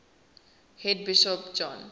head bishop john